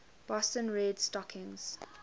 boston red stockings